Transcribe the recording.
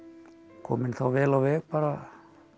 kominn þá vel á veg bara